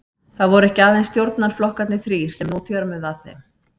Það voru ekki aðeins stjórnarflokkarnir þrír, sem nú þjörmuðu að þeim.